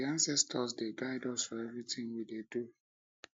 na um di anscestors dey guide us for everytin we dey do